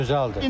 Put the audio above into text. Hə, gözəldir.